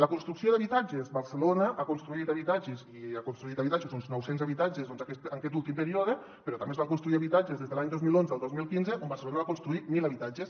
la construcció d’habitatges barcelona ha construït habitatges ha construït uns nou cents habitatges en aquest últim període però també es van construir habitatges des de l’any dos mil onze al dos mil quinze on barcelona va construir mil habitatges